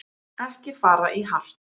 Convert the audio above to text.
Ekki fara í hart